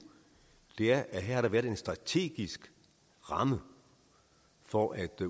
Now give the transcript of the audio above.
er at der her har været en strategisk ramme for at